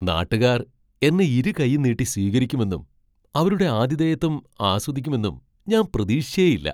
നാട്ടുകാർ എന്നെ ഇരുകൈയ്യും നീട്ടി സ്വീകരിക്കുമെന്നും അവരുടെ ആതിഥേയത്വം ആസ്വദിക്കുമെന്നും ഞാൻ പ്രതീക്ഷിച്ചേയില്ല.